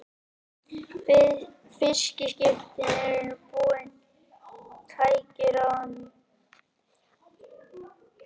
Fiskiskipin eru einnig búin mun fleiri og dýrari tækjum en áður.